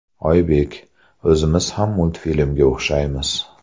Oybek: O‘zimiz ham multfilmga o‘xshaymiz.